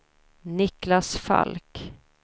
Niclas Falk